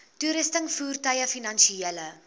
toerusting voertuie finansiële